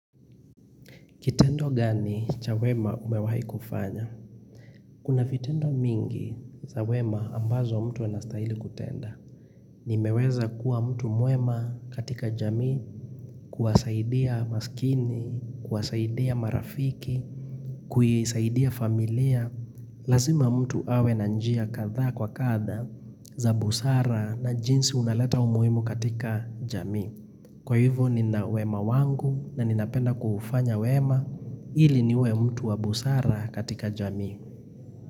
Kitendo gani cha wema umewahi kufanya? Kuna vitendo mingi za wema ambazo mtu anastaili kutenda. Nimeweza kuwa mtu mwema katika jamii, kuwasaidia maskini, kuwasaidia marafiki, kuisaidia familia. Lazima mtu awe na njia kadhaa kwa kadha za busara na jinsi unaleta umuimu katika jamii. Kwa hivo ninawema wangu na ninapenda kuufanya wema ili niwe mtu wa busara katika jamii.